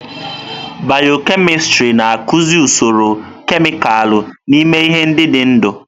Bịyọ-kemịstrị na-akụzi usoro kemịkalụ n'ime ihe ndị dị ndụ.